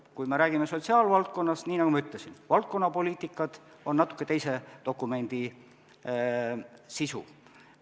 Kui me räägime sotsiaalvaldkonnast, siis nii nagu ma ütlesin, valdkonnapoliitikad on natuke teise dokumendi sisu.